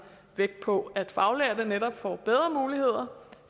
vægt på nemlig at faglærte netop får bedre muligheder